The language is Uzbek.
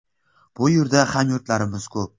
Bu yerda hamyurtlarimiz ko‘p.